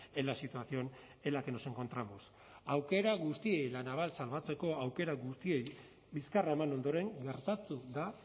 en la situación en la que nos encontramos aukera guztiei la naval salbatzeko aukera guztiei bizkarra eman ondoren gertatu da